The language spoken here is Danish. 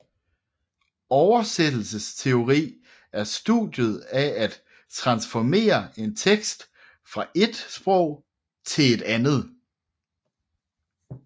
Oversættelsesteori er studiet af at transformere en tekst fra ét sprog til et andet